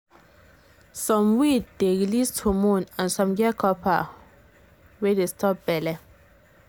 some iud dey release hormone and some get copper wey dey stop belle.